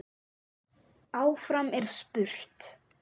Áfram er spurt.